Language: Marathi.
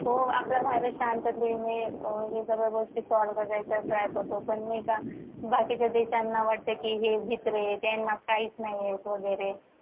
हो आपला भारत शांततेने ह्या सगळ्या गोष्टी solve करायचा try करतो पण नाही का बाकीच्या देशांना वाटत कि हे भित्रे त्यांना काहीच नाही येत वगैरे